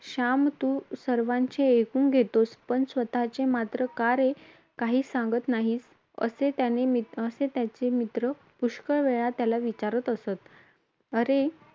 'श्याम, तू सर्वांचे ऐकून घेतोस, पण स्वतचे मात्र का रे काहीच सांगत नाहीस? असे त्याने त्याचे मित्र पुष्कळदा त्याला विचारात असत.